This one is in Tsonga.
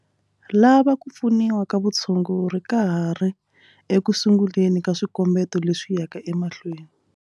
Lava ku pfuniwa ka vutshunguri ka ha ri eku sunguleni ka swikombeto leswi yaka emahlweni.